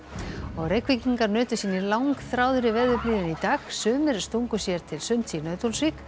Reykvíkingar nutu sín í langþráðri veðurblíðunni í dag sumir stungu sér til sunds í Nauthólsvík